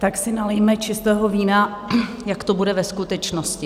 Tak si nalijme čistého vína, jak to bude ve skutečnosti.